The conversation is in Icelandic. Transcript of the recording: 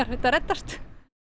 þetta reddast